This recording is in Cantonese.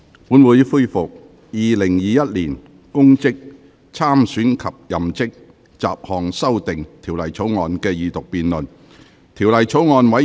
本會恢復《2021年公職條例草案》的二讀辯論。